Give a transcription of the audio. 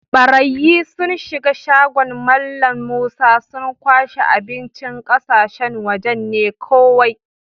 Barayyi sun shiga shagon Mallam Musa, sun kwashe abincin ƙasashen waje ne kowai.